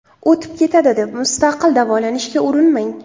O‘tib ketadi, deb mustaqil davolanishga urinmang!